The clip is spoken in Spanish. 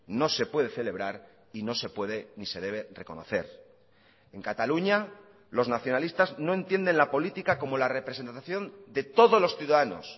no se puede celebrar y no se puede ni se debe reconocer en cataluña los nacionalistas no entienden la política como la representación de todos los ciudadanos